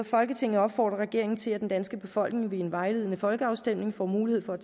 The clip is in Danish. folketinget opfordrer regeringen til at den danske befolkning ved en vejledende folkeafstemning får mulighed for at